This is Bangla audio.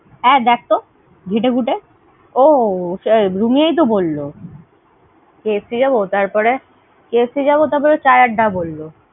হ্যাঁ, দেখতো ঘেঁটে ঘুঁটে। ও রুমিয়েতো বলল। KFC যাবো তারপরে, KFC যাবো তারপরে, Chai Adda বলল।